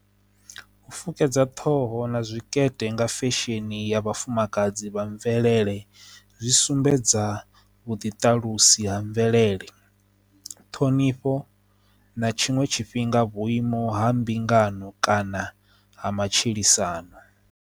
U fukedza ṱhoho na zwikepe nga fesheni ya vhafumakadzi vha mvelele zwi sumbedza vhuḓi tshiṱalusa ha mvelele ṱhonifho na tshiṅwe tshifhinga vhuimo ha mbingano kana ha matshilisano.